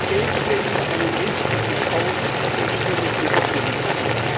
Geben wir ihm einen richtigen Stoß und stimmen wir dem Bericht zu!